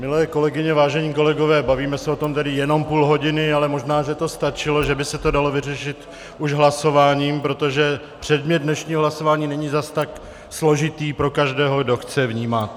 Milé kolegyně, vážení kolegové, bavíme se o tom tedy jenom půl hodiny, ale možná že to stačilo, že by se to dalo vyřešit už hlasováním, protože předmět dnešního hlasování není zas tak složitý pro každého, kdo chce vnímat.